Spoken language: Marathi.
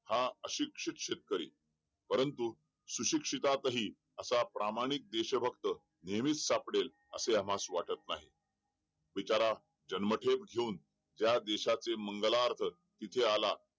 हा अशिक्षित शेतकरी परंतु सुशिक्षितही असा प्रामाणिक देश भक्त नेहमीच असे आम्हास वाटत नाही बिचारा जन्मठेप घेऊन या देशाचे मंगला अर्थ जेथे आला